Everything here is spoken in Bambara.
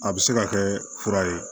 A bɛ se ka kɛ fura ye